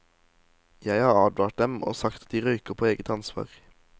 Jeg har advart dem og sagt at de røyker på eget ansvar.